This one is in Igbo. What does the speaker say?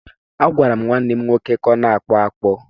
Agwara m nwa m nwoke ka ọ na-akpụ akpụ.